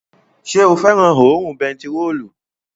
Ṣé o fẹ́ràn òórùn bentiróòlù?